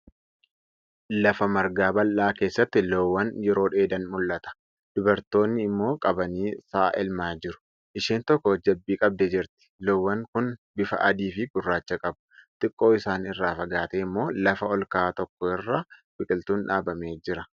Lafa margaa bal'aa keessatti loowwan yeroo dheedan mul'ata. Dubartoonni ammoo qabanii sa'a elmaa jiru. Isheen tokko jabbii qabdee jirti. Loowwan kun bifa adii fi gurraacha qabu. Xiqqoo isaan irraa fagaatee ammoo lafa olka'aa tokko irra biqiltuun dhaabamee jira.